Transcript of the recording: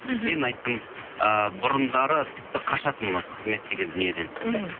мен айттым ыыы бұрындары тіпті қашатынмын осы қызмет деген дүниеден мхм